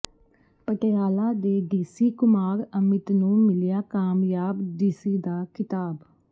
ਪਟਿਆਲਾ ਦੇ ਡੀਸੀ ਕੁਮਾਰ ਅਮਿਤ ਨੂੰ ਮਿਲਿਆ ਕਾਮਯਾਬ ਡੀਸੀ ਦਾ ਖ਼ਿਤਾਬ